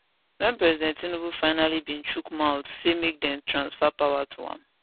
wen president tinubu finally bin chook mouth say make dem transfer power to am